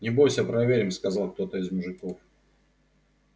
не бойся проверим сказал кто-то из мужиков